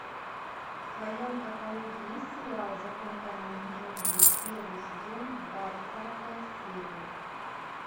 в твоем каталоге есть сериал закон каменных джунглей первый сезон двадцатая серия